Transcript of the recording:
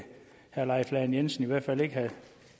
herre leif lahn jensen i hvert fald ikke have